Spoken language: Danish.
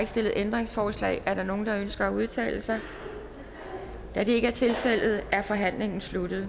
stillet ændringsforslag er der nogen der ønsker at udtale sig da det ikke er tilfældet er forhandlingen sluttet